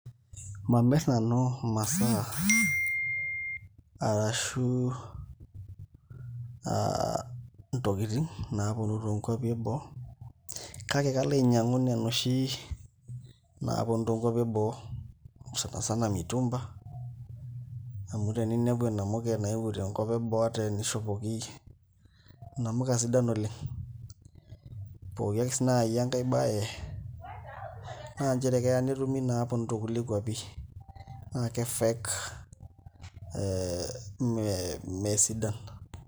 Mamirr nanu imasaa arashu aa ntokitin naaponu toonkuapi eboo kake kalo ainyiang'u nena oshi naaponu tonkuapi eboo sana sana mitumba amu teninepu enamuke nayauo toonkuapi eboo ata enishopoki inamuka sidan oleng' pooki ake sii naai enkae baye naa nchere keya netumi inaapinu toonkulie kuapi na kefake ee meesidan.